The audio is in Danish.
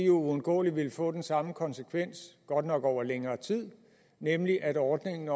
uundgåeligt vil få den samme konsekvens godt nok over længere tid nemlig at ordningen